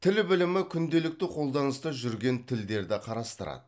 тіл білімі күнделікті қолданыста жүрген тілдерді қарастырады